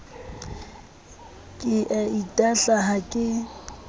ke a itahla ha ke